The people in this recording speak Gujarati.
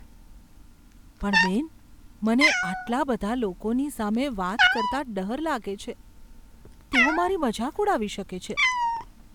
પણ બેન, મને આટલા બધા લોકોની સામે વાત કરતાં ડર લાગે છે. તેઓ મારી મજાક ઉડાવી શકે છે.